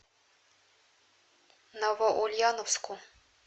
новоульяновску